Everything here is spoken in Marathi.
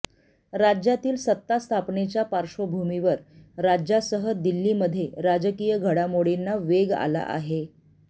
राज्यातील सत्ता स्थापनेच्या पार्श्वभूमीवर राज्यासह दिल्लीमध्ये राजकीय घडामोडींना वेग आला आहे